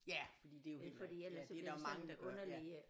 Ja fordi det er jo heller ikke ja det er der jo mange der gør ja